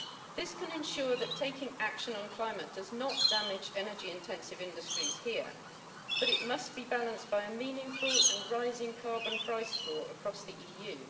This can ensure that taking action on the climate does not damage energy intensive industries here, but it must be balanced by a meaningful and rising carbon price floor across the EU.